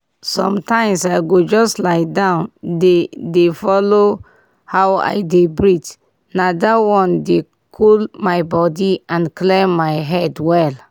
sometimes i go just lie down dey dey follow how i dey breathe na that one dey cool my body and clear my head well.